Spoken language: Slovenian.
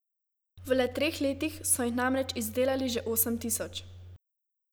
V le treh letih so jih namreč izdelali že osem tisoč.